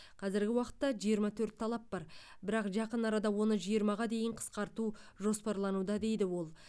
қазіргі уақытта жиырма төрт талап бар бірақ жақын арада оны жиырмаға дейін қысқарту жоспарлануда дейді ол